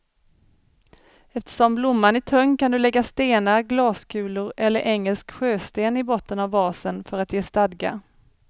Eftersom blomman är tung kan du lägga stenar, glaskulor eller engelsk sjösten i botten av vasen för att ge stadga.